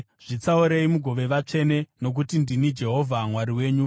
“ ‘Zvitsaurei mugove vatsvene nokuti ndini Jehovha Mwari wenyu.